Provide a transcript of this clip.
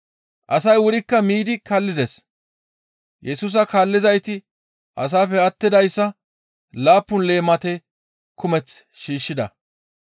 Asay wurikka miidi kallides; Yesusa kaallizayti asaappe attidayssa laappun leemate kumeth shiishshida.